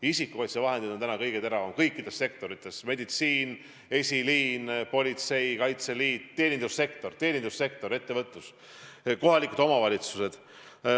Isikukaitsevahendid on täna kõige teravam küsimus kõikides sektorites: eesliin, st meditsiin, politsei, Kaitseliit, teenindussektor, ka ettevõtlus, kohalikud omavalitsused.